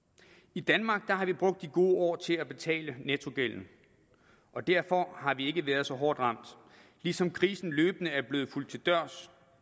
i danmark har vi brugt de gode år til at betale nettogælden og derfor har vi ikke været så hårdt ramt ligesom krisen løbende er blevet fulgt til dørs